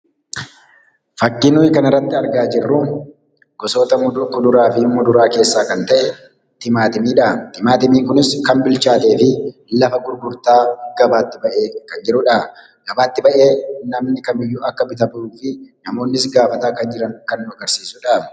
Fakkiin nuyi kanarratti argaa jirru gosoota kuduraafi muduraa keessaa kan ta'e timaatimiidha. Timaatimiin kunis kan bilchaatee fi lafa gurgurtaa gabaatti ba'ee kan jirudha. Gabaatti ba'ee namni kamiyyuu akka bitatuufi namoonnis gaafataa jiran kan nu agarsiisudha.